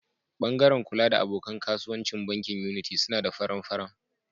Bangaren kula da abokan kasuwanci bankin Unity suna da faran-faran.